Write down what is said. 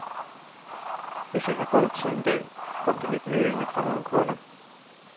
Hvis jeg har god tid en dag, kom det lidt nølende fra nogle kunder.